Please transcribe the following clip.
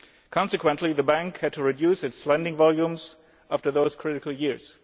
Consequently the Bank had to reduce its lending volumes after those critical years.